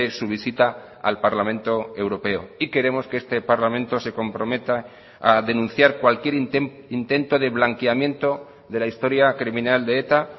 su visita al parlamento europeo y queremos que este parlamento se comprometa a denunciar cualquier intento de blanqueamiento de la historia criminal de eta